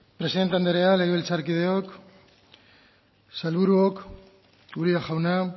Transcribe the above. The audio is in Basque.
presidente anderea legebiltzarkideok sailburuok uria jauna